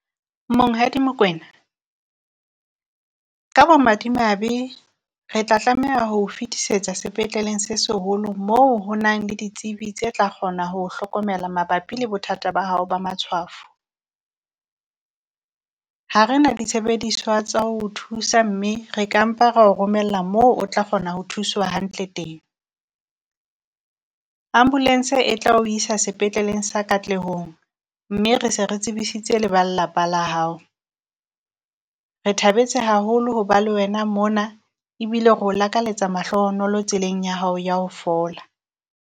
Monghadi Mokoena ka bomadimabe re tla tlameha ho o fetisetsa sepetleleng se seholo moo ho nang le ditsebi tse tla kgona ho o hlokomela mabapi le bothata ba hao ba matshwafo. Ha re na ditshebediswa tsa ho o thusa, mme re ka mpa ra o romella moo o tla kgona ho thuswa hantle teng. Ambulance e tla o isa sepetleleng sa katlehong, mme re se re tsebisitse le ba lelapa la hao. Re thabetse haholo ho ba le wena mona ebile reo lakaletsa mahlohonolo tseleng ya hao ya ho fola.